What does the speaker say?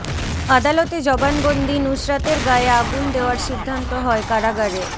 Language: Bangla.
আদালতে জবানবন্দি নুসরাতের গায়ে আগুন দেওয়ার সিদ্ধান্ত হয় কারাগারে